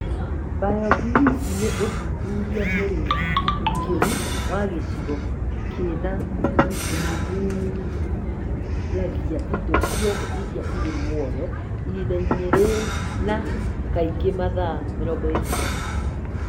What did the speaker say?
BioBlitz nĩ ũthuthuria mũrikĩru wa gĩcigo kĩna na ũthuthuragia indo ciothe iria irĩ muoyo ihinda-inĩ rĩna, kaingĩ mathaa 24